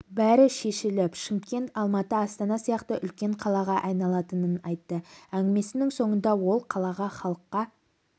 бәрі шешіліп шымкент алматы астана сияқты үлкен қалаға айналатынын айтты әңгімесінің соңында ол қалаға халыққа